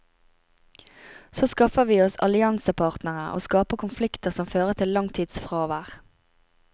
Så skaffer vi oss alliansepartnere og skaper konflikter som fører til langtidsfravær.